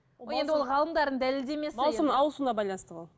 ол ғалымдардың дәлелдемесі маусым ауысуына байланысты болады